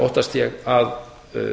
óttast ég að